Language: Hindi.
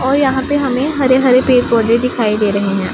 और यहां पे हमें हरे हरे पेड़ पौधे दिखाई दे रहे हैं।